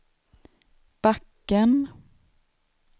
backen